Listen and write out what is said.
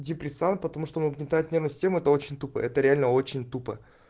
депрессант потому что он угнетает нервную систему это очень тупо это реально очень тупо